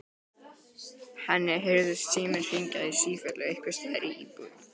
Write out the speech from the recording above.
Henni heyrðist síminn hringja í sífellu einhvers staðar í íbúðinni.